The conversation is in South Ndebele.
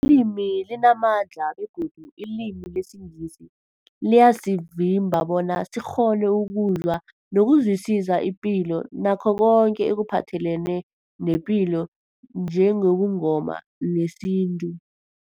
limi limamandla begodu ilimi lesiNgisi liyasivimba bona sikghone ukuzwa nokuzwisisa ipilo nakho koke ekuphathelene nepilo njengobuNgoma nesintu.